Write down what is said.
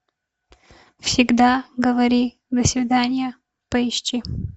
всегда говори до свидания поищи